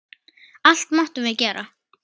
Allt máttum við gera.